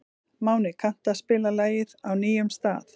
Máni, kanntu að spila lagið „Á nýjum stað“?